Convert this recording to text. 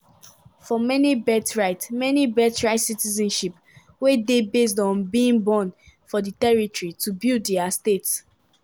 for many birthright many birthright citizenship wey dey based on being born for the territory to build their state.